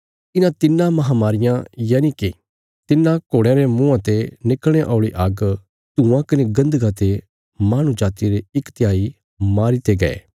इन्हां तिन्नां महामारियां यनिके तिन्हां घोड़यां रे मुँआं ते निकल़णे औल़ी आग्ग धुआँ कने गन्धका ते माहणु जातिया रे इक तिहाई मारी दित्ते गै